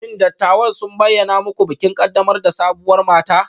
Shin dattawan sun bayyana muku bikin ƙaddamar da sabuwar mata?